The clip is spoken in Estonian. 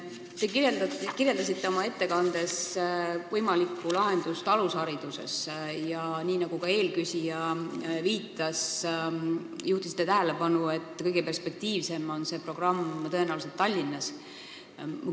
Te kirjeldasite oma ettekandes võimalikku lahendust alushariduses ja, nii nagu ka eelküsija viitas, juhtisite tähelepanu, et kõige perspektiivsem on see programm tõenäoliselt Tallinnas.